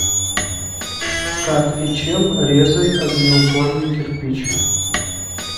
как и чем резать огнеупорный кирпич